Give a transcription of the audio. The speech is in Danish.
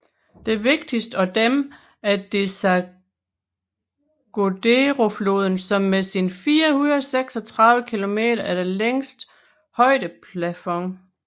Den vigtigste af dem er Desaguaderofloden som med sine 436 kilometer er den længste højplateauflod